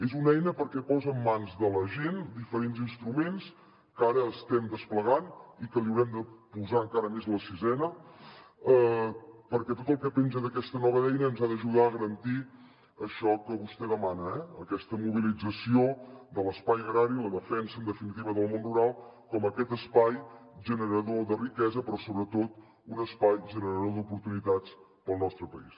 és una eina perquè posa en mans de la gent diferents instruments que ara estem desplegant i que li haurem de posar encara més la sisena perquè tot el que penja d’aquesta nova eina ens ha d’ajudar a garantir això que vostè demana aquesta mobilització de l’espai agrari la defensa en definitiva del món rural com aquest espai generador de riquesa però sobretot un espai generador d’oportunitats per al nostre país